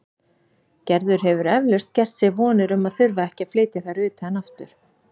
Gerður hefur eflaust gert sér vonir um að þurfa ekki að flytja þær utan aftur.